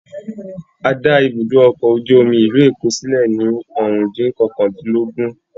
A dá ibùdó ọkọ̀ ojú omi ìlú Èkó sílẹ̀ ní ọ̀rúndún kọkàndínlógún